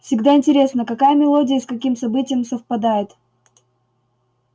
всегда интересно какая мелодия и с каким событием совпадёт